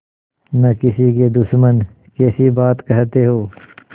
न किसी के दुश्मन कैसी बात कहते हो